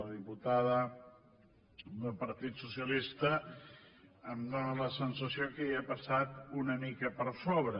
la diputada del partit socialista em dóna la sensació que hi ha passat una mica per sobre